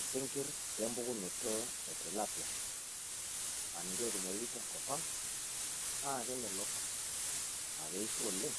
Isinkir lempukunoto e tilapia aa ninche ootumoyu tenkop ang naa kemelok aa keishio oleng